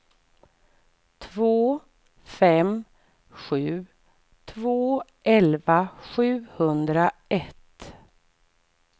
två fem sju två elva sjuhundraett